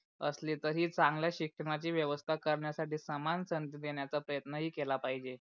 असले तरी चांगल्या शिक्षणाची व्यवस्था करण्या साठी समान संधि देण्याच्या प्रयत्न ही केला पहिजे.